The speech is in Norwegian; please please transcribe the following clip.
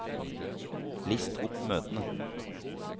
list opp møtene